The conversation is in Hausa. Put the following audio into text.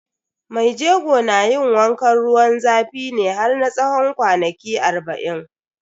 Mai jego na yin wankan ruwan zafi ne har na tsawon kwanaki arba'in.